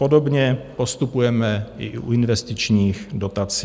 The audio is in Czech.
Podobně postupujeme i u investičních dotací.